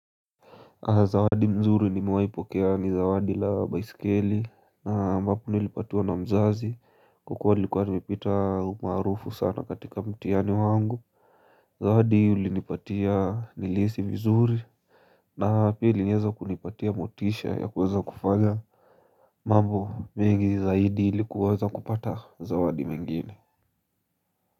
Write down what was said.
Zawadi mzuri nimewahipokea ni zawadi la baisikeli ambapo nilipatiwa na mzazi kwa kuwa nilikuwa nimepita umaarufu sana katika mtihani wangu Zawadi ilinipatia nilihisi vizuri na pili iliweza kunipatia motisha ya kuweza kufanya mambo mengi zaidi ili kuweza kupata zawadi mengine.